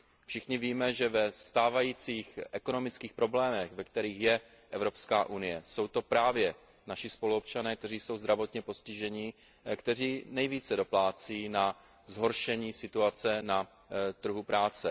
Všichni víme, že za stávajících ekonomických problémů, ve kterých je Evropská unie, jsou to právě naši spoluobčané, kteří jsou zdravotně postiženi, kteří nejvíce doplácí na zhoršení situace na trhu práce.